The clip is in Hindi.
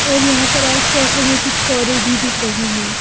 और यहाँ पर आसपास हमें कुछ कारे भी दिख रही हैं।